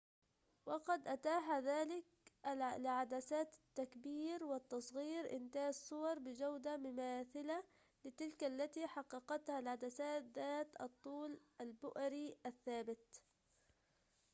وقد أتاح ذلك لعدسات التكبير والتصغير إنتاج صور بجودة مماثلة لتلك التي حققتها العدسات ذات الطول البؤري الثابت